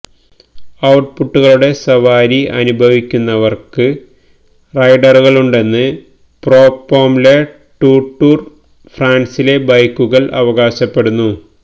ഔട്ട്പുട്ടുകളുടെ സവാരി അനുഭവിക്കുന്നവർക്ക് റൈഡറുകളുണ്ടെന്ന് പ്രൊപ്പോം ലെ ടൂ ടൂർ ഫ്രാൻസിലെ ബൈക്കുകൾ അവകാശപ്പെടുന്നു